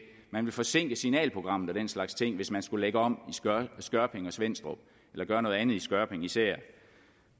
man ville forsinke signalprogrammet og den slags ting hvis man skulle lægge om i skørping og svenstrup eller gøre noget andet i skørping især